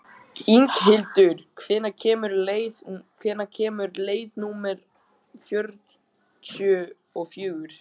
Inghildur, hvenær kemur leið númer fjörutíu og fjögur?